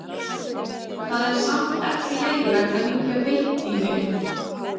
Það er samt ekki leyfilegt að hringja beint í mig.